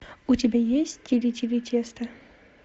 у тебя есть тили тили тесто